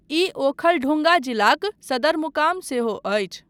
ई ओखलढुङ्गा जिलाक सदरमुकाम सेहो अछि।